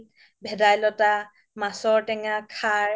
ভেদাইল্তা, মাছৰ টেঙা, সাৰ